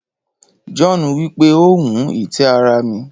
John wipe o wun itẹ ara mi.